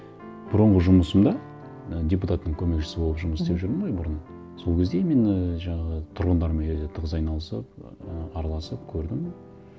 бұрынғы жұмысымда і депутаттың көмекшісі болып жұмыс мхм істеп жүрдім ғой бүрын сол кезде именно жаңағы тұрғындармен тығыз айналысып ы араласып көрдім